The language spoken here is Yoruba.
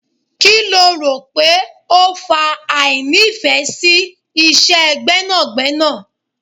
Kí lo rò pé ó fa àìní ìfẹ́ sí Iṣẹ́ gbẹ́nàgbẹ́nà.